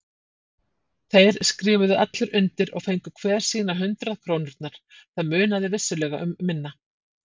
Þeir skrifuðu allir undir og fengu hver sínar hundrað krónurnar, það munaði vissulega um minna.